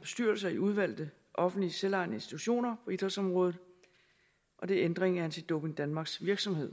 bestyrelser i udvalgte offentlige selvejende institutioner på idrætsområdet og det er ændring af anti doping danmarks virksomhed